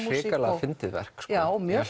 hrikalega fyndið verk já mjög